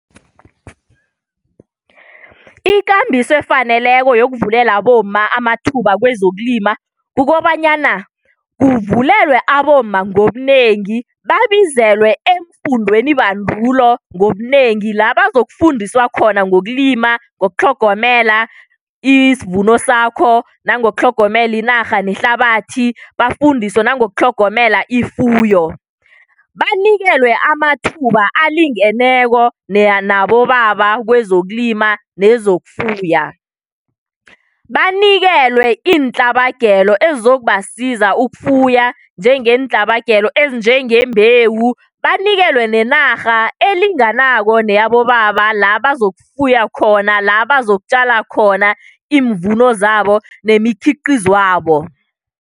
Ikambiso efaneleko yokuvulela abomma amathuba kwezokulima kukobanyana kuvulelwe abomma ngobunengi babizelwe eemfundenibandulo ngobunengi la bazokufundiswa khona ngokulima, ngokutlhogomela isvuno sakho, nangokutlhomela inarha nehlabathi, bafundiswe nangokutlhogomela ifuyo. Banikelwe amathuba alingeneko nabobaba kwezokulima nezokufuya. Banikelwe iintlabagelo ezokubasiza ukufuya njengeentlabagelo ezinjengembewu banikelwe nenarha elinganako neyabobaba la bazokufuya khona la bazokutjala khona iimvuno zabo nemikhiqizwabo.